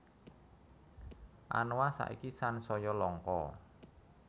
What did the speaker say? Anoa saiki sansaya langka